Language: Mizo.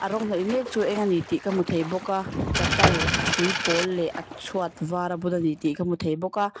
a rawng hnawih mek chu a eng ani tih ka hmu thei bawk a chapal a hrui pawl leh a chhuat var a bun ani tih ka hmu thei bawk a.